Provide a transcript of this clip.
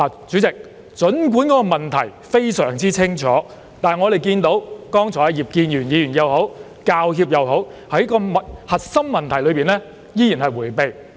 主席，儘管問題非常清楚，但不論是葉建源議員或香港教育專業人員協會，在核心問題上依然迴避。